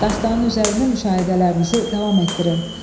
Dastanın üzərində müşahidələrinizi davam etdirin.